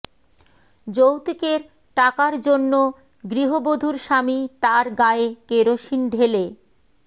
যৌতুকের টাকার জন্য গৃহবধূর স্বামী তাঁর গায়ে কেরোসিন ঢেলে